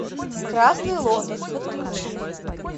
красный лотос подключи